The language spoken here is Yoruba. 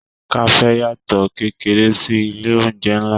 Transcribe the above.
Kafe yàtọ kékeré sí ilé oúnjẹ nlá.